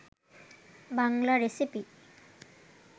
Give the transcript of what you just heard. Bangla recipe